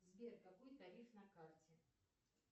сбер какой тариф на карте